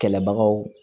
Kɛlɛbagaw